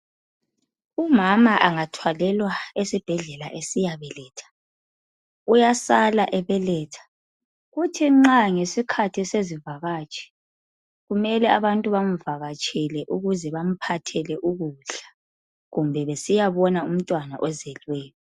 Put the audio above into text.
Umama angathwalelwa esibhedlela esiya beletha, uyasala ebeletha. Kuthi nxa ngesikhathi sezivakatshi, kumele abantu bamvakatshele ukuze bamphathele ukudla, kumbe besiyabona umntwana ozelweyo.